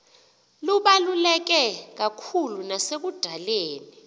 lubaluleke kakhulu nasekudaleni